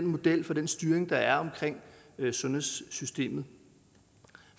modellen for den styring der er af sundhedssystemet